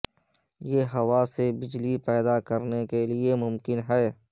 یہ ہوا سے بجلی پیدا کرنے کے لئے ممکن ہے